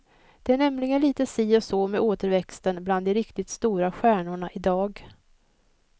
Det är nämligen lite si och så med återväxten bland de riktigt stora stjärnorna i dag.